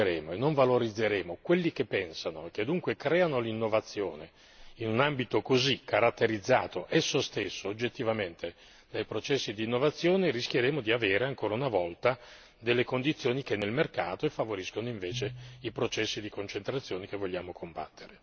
Se noi non difenderemo e non valorizzeremo quelli che pensano e che dunque creano l'innovazione in un ambito così caratterizzato esso stesso oggettivamente dai processi di innovazione, rischieremo di avere ancora una volta condizioni che negano il mercato e favoriscono invece i processi di concentrazione che vogliamo combattere.